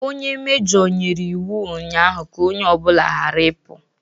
Onye mejoo nyere iwu ụnyaahụ ka ọnye obula ghara ịpụ!